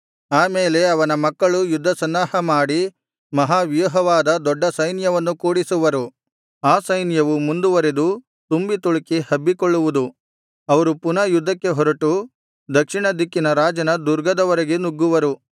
ಆ ಮೇಲೆ ಅವನ ಮಕ್ಕಳು ಯುದ್ಧ ಸನ್ನಾಹ ಮಾಡಿ ಮಹಾವ್ಯೂಹವಾದ ದೊಡ್ಡ ಸೈನ್ಯವನ್ನು ಕೂಡಿಸುವರು ಆ ಸೈನ್ಯವು ಮುಂದುವರೆದು ತುಂಬಿತುಳುಕಿ ಹಬ್ಬಿಕೊಳ್ಳುವುದು ಅವರು ಪುನಃ ಯುದ್ಧಕ್ಕೆ ಹೊರಟು ದಕ್ಷಿಣ ದಿಕ್ಕಿನ ರಾಜನ ದುರ್ಗದವರೆಗೆ ನುಗ್ಗುವರು